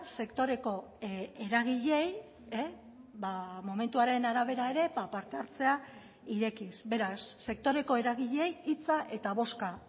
sektoreko eragileei momentuaren arabera ere parte hartzea irekiz beraz sektoreko eragileei hitza eta bozka